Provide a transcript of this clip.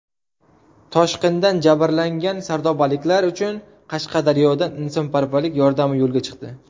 Toshqindan jabrlangan sardobaliklar uchun Qashqadaryodan insonparvarlik yordami yo‘lga chiqdi.